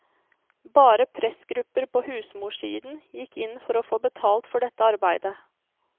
Bare pressgrupper på husmorsiden gikk inn for å få betalt for dette arbeidet.